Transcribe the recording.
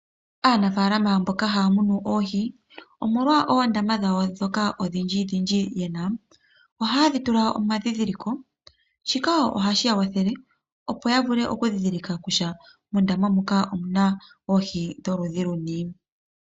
Aanafaalama mboka haya mu oohi omolwa oondama dhawo dhoka odhindji dhindji yena, ohaye dhi tula omadhidhiliko shika ohashi ya wathele opo ya vule oku dhidhilika kutya moondama muka omuna oohi dholudhi luni.